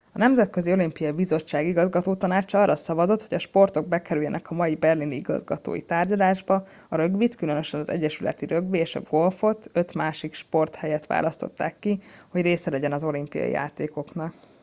a nemzetközi olimpiai bizottság igazgatótanácsa arra szavazott hogy a sportok bekerüljenek a mai berlini igazgatói tárgyalásba a rögbit különösen az egyesületi rögbi és a golfot öt másik sport helyett választották ki hogy része legyen az olimpiai játékoknak